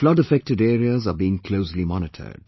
Flood affected areas are being closely monitored